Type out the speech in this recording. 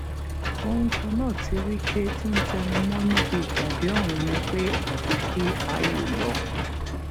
ohun kan náà tí wike tún ń tẹnu mọ níbi ìpàdé ọhún ni pé àfi kí áyù lọ